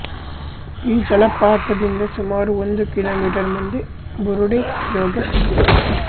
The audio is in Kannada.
ಈ ಜಲಪಾತದಿಂದ ಸುಮಾರು ಒಂದು ಕಿಮೀ ಮುಂದೆ ಬುರುಡೆಜೋಗ ಇದೆ